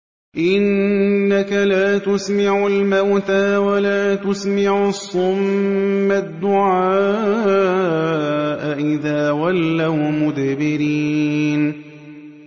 إِنَّكَ لَا تُسْمِعُ الْمَوْتَىٰ وَلَا تُسْمِعُ الصُّمَّ الدُّعَاءَ إِذَا وَلَّوْا مُدْبِرِينَ